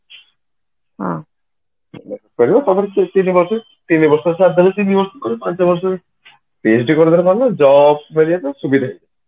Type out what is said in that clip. ହଁ କରିବ ତାପରେ ତିନି ବର୍ଷ କି ଚାରି ବର୍ଷ କି ପାଞ୍ଚ ବର୍ଷ PhD କରିଦେଲେ କଣ ନା job ମିଳିବାକୁ ସୁବିଧା